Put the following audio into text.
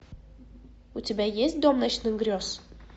у тебя есть дом ночных грез